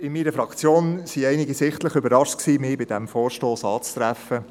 In meiner Fraktion waren einige sichtlich überrascht, mich bei diesem Vorstoss anzutreffen.